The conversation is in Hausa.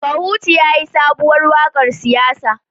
Kahutu yayi sabuwar wakar siyasa